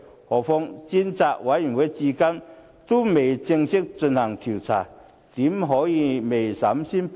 何況專責委員會至今仍未正式進行調查，怎可以未審先判？